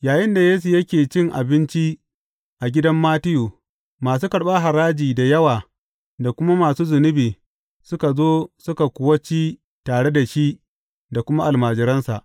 Yayinda Yesu yake cin abinci a gidan Mattiyu, masu karɓar haraji da yawa da kuma masu zunubi suka zo suka kuwa ci tare da shi da kuma almajiransa.